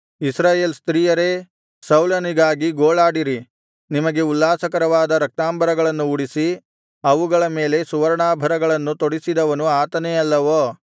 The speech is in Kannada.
ಇಸ್ರಾಯೇಲ್ ಸ್ತ್ರೀಯರೇ ಸೌಲನಿಗಾಗಿ ಗೋಳಾಡಿರಿ ನಿಮಗೆ ಉಲ್ಲಾಸಕರವಾದ ರಕ್ತಾಂಬರಗಳನ್ನು ಉಡಿಸಿ ಅವುಗಳ ಮೇಲೆ ಸುವರ್ಣಾಭರಣಗಳನ್ನು ತೊಡಿಸಿದವನು ಆತನೇ ಅಲ್ಲವೋ